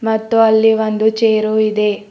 ಮತ್ತು ಅಲ್ಲಿ ಒಂದು ಚೇರು ಇದೆ.